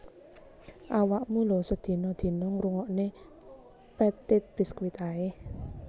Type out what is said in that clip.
Awakmu lho sedina dina ngrungokno Petite Biscuit ae